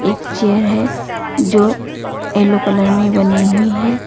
एक चेयर है जो येलो कलर में बनी हुई है।